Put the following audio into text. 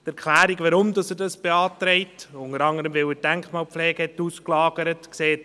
Die Erklärung, warum er dies beantragt, ist unter anderem, weil er die Denkmalpflege ausgelagert hat.